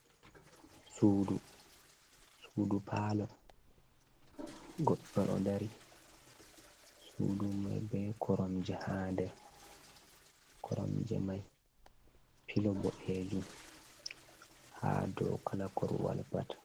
Sudu. Sudu palo, goɗɗo ɗo dari. Sudu mai be koromje ha nde. Koromje mai, pilo boɗejum ha dau kala korwal pat